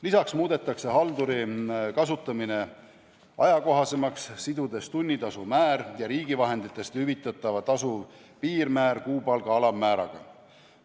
Lisaks muudetakse halduri kasutamine ajakohasemaks, sidudes tunnitasu määra ja riigi vahenditest hüvitatava tasu piirmäära kuupalga alammääraga.